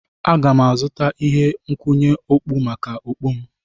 Aga m azụta ihe nkwụnye okpu maka okpu m.